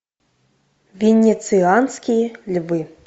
венецианские львы